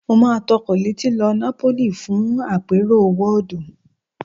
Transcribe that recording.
Mo máa tọkọ̀ létí lọ Napoli fún àpérò WAAD